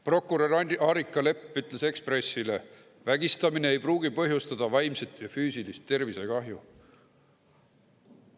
Prokurör Arika Lepp ütles Eesti Ekspressile, et vägistamine ei pruugi põhjustada vaimset ja füüsilist tervisekahju.